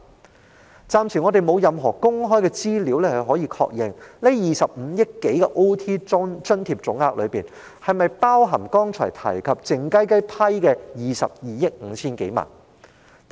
我們暫時沒有任何公開資料可確認在該25多億元加班津貼總額中，是否包含剛才提及，獲當局靜悄悄批出的22億 5,000 多萬元。